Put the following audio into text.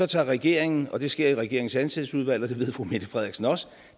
tager regeringen og det sker i regeringens ansættelsesudvalg og det ved fru mette frederiksen også